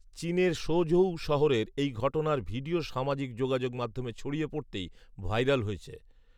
চীনের শৌঝউ শহরের এই ঘটনার ভিডিও সামাজিক যোগাযোগমাধ্যমে ছড়িয়ে পড়তেই ভাইরাল হয়েছে